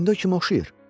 İndi o kimə oxşayır?